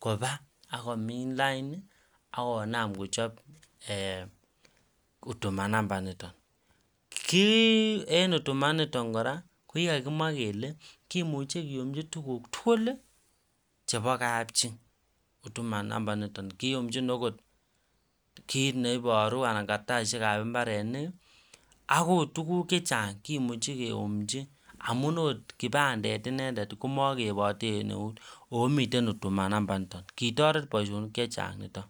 Koba komin lainit akonam kochab en huduma namba initon kit en huduma initon koraa kokikakimwaa Kole kimuche kiyumchi tuguk tugul chebo kabchi huduma numba niton kiyumchi. Okotkit neibaru anan saishek ab imbarenik akot tuguk chechang cheimuche keyumchi amun okot kibandet inendet komakeibate en nout en huduma namba initon kitaret Baishonik chechang niton